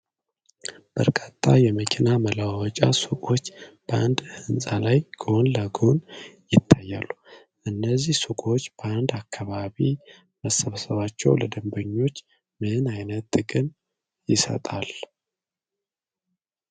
በርካታ የመኪና መለዋወጫ ሱቆች በአንድ ሕንፃ ላይ ጎን ለጎን ይታያሉ። እነዚህ ሱቆች በአንድ አካባቢ መሰባሰባቸው ለደንበኞች ምን ዓይነት ጥቅም ይሰጣል?